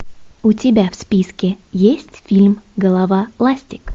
у тебя в списке есть фильм голова ластик